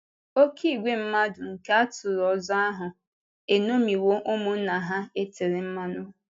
Oké ìgwè mmadụ nke atụrụ ọzọ ahụ eṅomiwo ụmụnna ha e tere mmanụ.